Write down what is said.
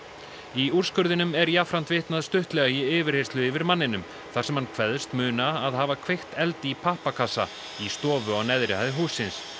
í úrskurðinum er jafnframt vitnað stuttlega í yfirheyrslu yfir manninum þar sem hann kveðst muna að hafa kveikt eld í pappakassa í stofu á neðri hæð hússins